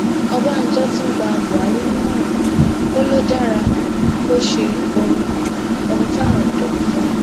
ọbànjọ tún gba buhari nímọràn ó lọ dára kó ṣe ohun ohun táwọn ọdọ ń fẹ